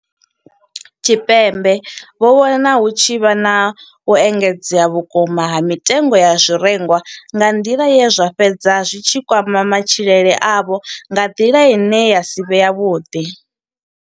Tshipembe vho vhona hu tshi vha na u engedzea vhukuma ha mitengo ya zwirengwa nga nḓila ye zwa fhedza zwi tshi kwama matshilele avho nga nḓila ine ya si vhe yavhuḓi.